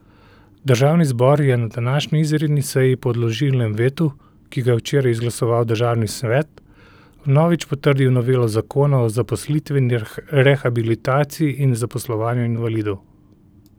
Državni zbor je na današnji izredni seji po odložilnem vetu, ki ga je včeraj izglasoval državni svet, vnovič potrdil novelo zakona o zaposlitveni rehabilitaciji in zaposlovanju invalidov.